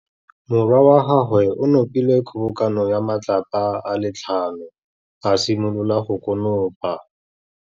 Morwa wa gagwe o nopile kgobokanô ya matlapa a le tlhano, a simolola go konopa.